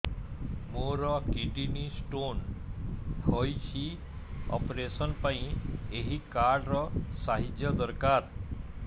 ମୋର kidney stone ହଇଛି operation ପାଇଁ ଏହି କାର୍ଡ ର ସାହାଯ୍ୟ ଦରକାର